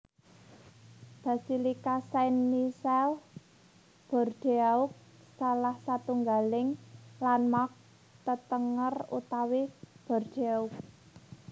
Basilika Saint Michel Bordeaux salah satunggaling landmark tetenger utami Bordeaux